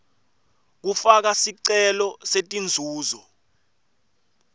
kufaka sicelo setinzuzo